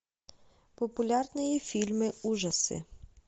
популярные фильмы ужасы